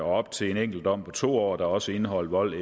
op til en enkelt dom på to år der også indeholdt vold